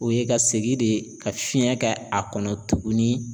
O ye ka segin de ka fiɲɛ kɛ a kɔnɔ tuguni.